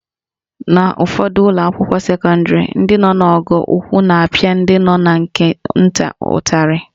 N'ụfọdụ ụlọakwụkwọ sekọndịrị, ndị nọ n'ogo ukwu na-apịa ndị nọ na nke nta ụtarị